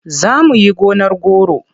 Za mu yi gonar goro.